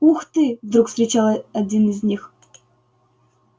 ух ты вдруг вскричал один из них